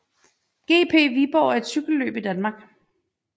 GP Viborg er et cykelløb i Danmark